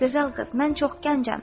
Gözəl qız, mən çox gəncəm.